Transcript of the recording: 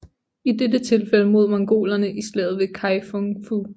I dette tilfælde mod mongolerne i slaget ved Kai Fung Fu